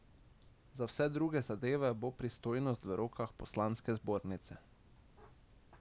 Za vse druge zadeve bo pristojnost v rokah poslanske zbornice.